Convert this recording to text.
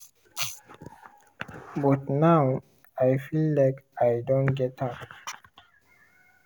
but now i feel like i don get am.